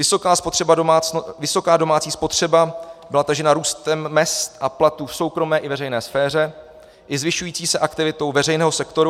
Vysoká domácí spotřeba byla tažena růstem mezd a platů v soukromé i veřejné sféře i zvyšující se aktivitou veřejného sektoru.